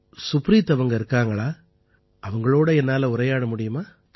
சுப்ரீத் அவர்கள் இருக்கிறார்களா அவர்களோடு என்னால் உரையாட முடியுமா